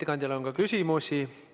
Ettekandjale on ka küsimusi.